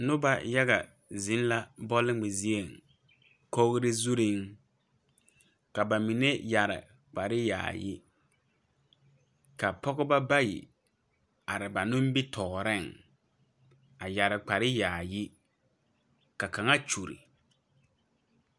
Noba yaga zeŋ la bɔlngmɛ zieŋ kogre zurreŋ ka ba mine yɛre kpare yaayi ka Pɔgeba bayi are ba nimitooreŋ a yɛre kpare yaayi ka kaŋa kyure.